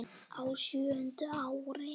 Á sjöunda ári